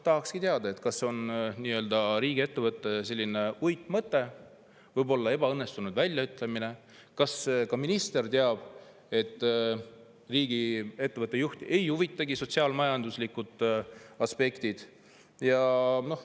Tahakski teada, kas see on riigiettevõtte uitmõte, võib-olla ebaõnnestunud väljaütlemine; kas ka minister teab, et riigiettevõtte juhti ei huvitagi sotsiaal-majanduslikud aspektid.